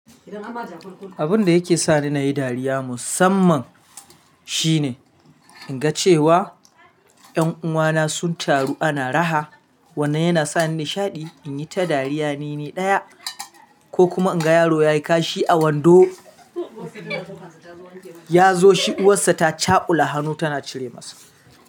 Abin da yake sa ni nayi dariya musamman shine in ga cewa ƴan uwana sun taru ana raha, wannan yana sa ni nishaɗi in yi ta dariya nini ɗaya ko kuma in ga yaro ya yi kashi a wando ya zo shi uwarsa ta caƙula hannu tana cire masa.